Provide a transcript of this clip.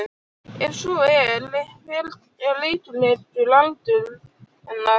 Ef svo er hver er líklegur aldur hennar?